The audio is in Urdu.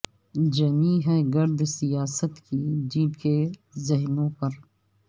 جمی ہے گرد سیاست کی جن کے ذہنوں پر